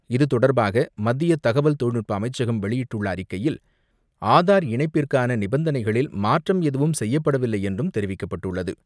இதுதொடர்பாக மத்திய தகவல் தொழில்நுட்ப அமைச்சகம் வெளியிட்டுள்ள அறிக்கையில், ஆதார் இணைப்பிற்கான நிபந்தனைகளில் மாற்றம் எதுவும் செய்யப்படவில்லை என்றும் தெரிவிக்கப்பட்டுள்ளது.